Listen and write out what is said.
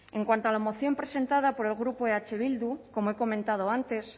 en cuanto a la moción presentada por el grupo eh bildu como he comentado antes